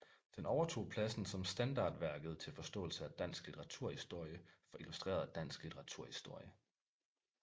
Den overtog pladsen som standardværket til forståelse af dansk litteraturhistorie fra Illustreret Dansk Litteraturhistorie